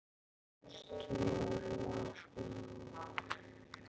Stórum og smáum.